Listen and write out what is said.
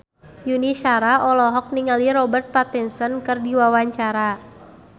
Yuni Shara olohok ningali Robert Pattinson keur diwawancara